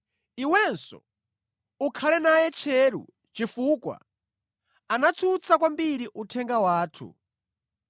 Iwenso ukhale naye tcheru chifukwa anatsutsa kwambiri uthenga wathu.